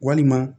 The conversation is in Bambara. Walima